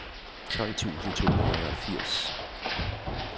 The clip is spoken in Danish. tolv tusind to hundrede og firs